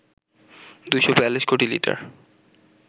২৪২ কোটি লিটার